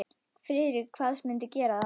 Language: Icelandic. Friðrik kvaðst mundu gera það.